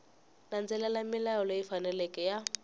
landzelela milawu leyi faneleke ya